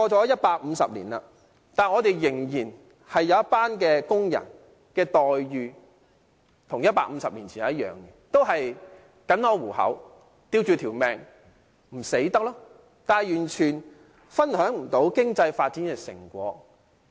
一百五十年過去，仍然有一群工人的待遇跟150年前一樣，也是僅可糊口、苟延殘喘，但完全無法分享經濟發展的成果。